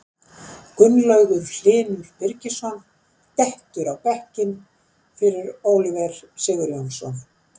Gunnlaugur Hlynur Birgisson dettur á bekkinn fyrir Oliver Sigurjónsson.